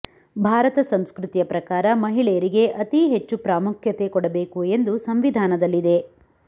ಭಾರತ ಸಂಸೃತಿಯ ಪ್ರಕಾರ ಮಹಿಳೆಯರಿಗೆ ಅತೀ ಹೆಚ್ಚು ಪ್ರಾಮುಖ್ಯತೆ ಕೊಡಬೇಕು ಎಂದು ಸಂವಿಧಾನದಲ್ಲಿದೆ